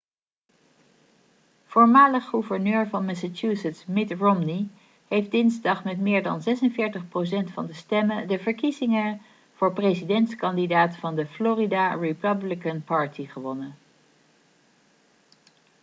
voormalig gouverneur van massachusetts mitt romney heeft dinsdag met meer dan 46 procent van de stemmen de verkiezingen voor presidentskandidaat van de florida republican party gewonnen